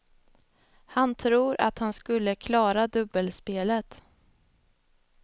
Han tror att han skulle klara dubbelspelet.